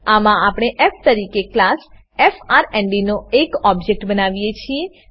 આમાં આપણે ફ તરીકે ક્લાસ એફઆરએનડી નો એક ઓબજેક્ટ બનાવીએ છીએ